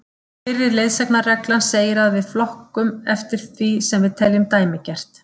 Fyrri leiðsagnarreglan segir að við flokkum oft eftir því sem við teljum dæmigert.